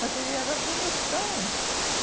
Mas ele era bonitão. E